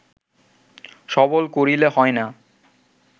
সবল করিলে হয় না